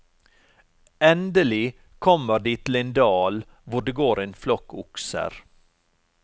Endelig kommer de til en dal hvor det går en flokk okser.